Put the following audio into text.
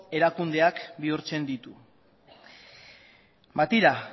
erakundeak bihurtzen ditu ba tira